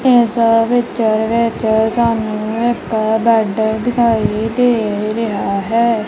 ਇਸ ਪਿਚਰ ਵਿੱਚ ਸਾਨੂੰ ਇੱਕ ਬੈਡ ਦਿਖਾਈ ਦੇ ਰਿਹਾ ਹੈ।